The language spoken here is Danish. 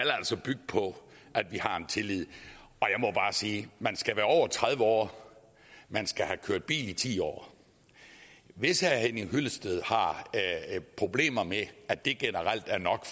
bygge på at vi har tillid og sige man skal være over tredive år man skal have kørt bil i ti år hvis herre henning hyllested har problemer med at det generelt er nok